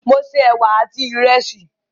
Mo se ẹwà àti ìrẹsì.